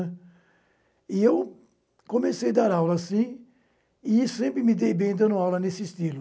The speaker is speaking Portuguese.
E eu comecei a dar aula assim e sempre me dei bem dando aula nesse estilo.